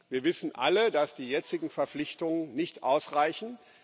Wir wissen alle, dass die jetzigen Verpflichtungen nicht ausreichen